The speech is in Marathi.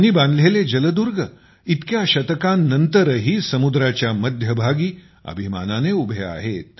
त्यांनी बांधलेले जलदुर्ग इतक्या शतकांनंतरही समुद्राच्या मध्यभागी अभिमानाने उभे आहेत